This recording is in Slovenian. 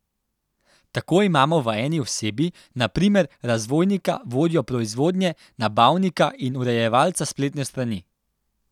Tako imamo v eni osebi, na primer, razvojnika, vodjo proizvodnje, nabavnika in urejevalca spletne strani.